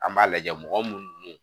An b'a lajɛ mɔgɔ munnu n'u